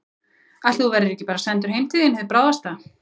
Ætli þú verðir bara ekki sendur heim til þín hið bráðasta.